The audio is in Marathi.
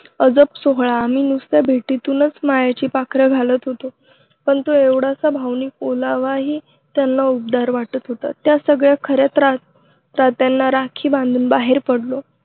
अजब सोहळ आम्ही नुसत्या भेटीतून मायेची पाखर घालत होतो, पण तो एवढासा भावनिक ओलावाही त्यांना उबदार वाटत होता. त्या सगळ्या खऱ्या त्रात्यांना राखी बांधून बाहेर पडलो.